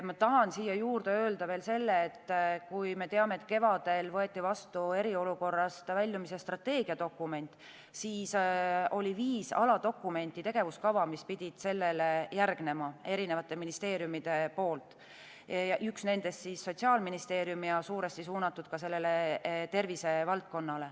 Ma tahan siia juurde öelda veel selle, et kui kevadel võeti vastu eriolukorrast väljumise strateegia dokument, siis oli viis aladokumenti, tegevuskava, mis pidid sellele järgnema – erinevate ministeeriumide poolt, üks nendest siis Sotsiaalministeeriumilt –, ja olid suuresti suunatud tervisevaldkonnale.